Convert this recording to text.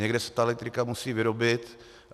Někde se ta elektrika musí vyrobit.